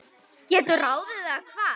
geturðu ráðið, eða hvað?